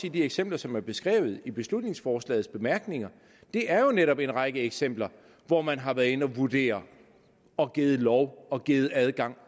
i de eksempler som er beskrevet i beslutningsforslagets bemærkninger det er jo netop en række eksempler hvor man har været inde at vurdere og givet lov og givet adgang